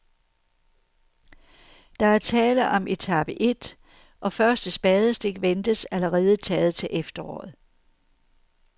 Der er tale om etape et, og første spadestik ventes allerede taget til efteråret.